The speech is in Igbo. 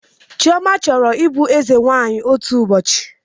Chioma chọrọ ịbụ eze nwanyị otu ụbọchị